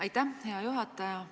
Aitäh, hea juhataja!